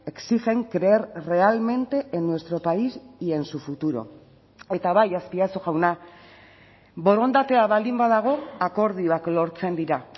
exigen creer realmente en nuestro país y en su futuro eta bai azpiazu jauna borondatea baldin badago akordioak lortzen dira